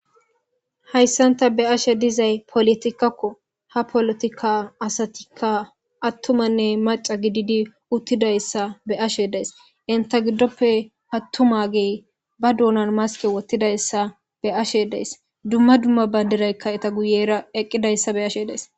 Hayssan ta be ashe dizay polotikkakko ha polotikka asatikka attumanne maca gididi uttidayssa be ashe dees inta giddoppe hattumagey ba duunan maske wottidayssa be ashe dees dumma dumma badiraykka eta guyera eqqidayssa be ashe dees.